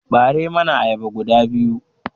Ɓare mani ayyaba guda biyu!